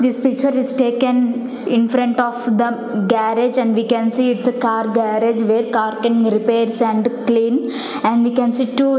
this picture is taken infront of the garage and we can see its a car garage where car can repairs and clean and we can see two --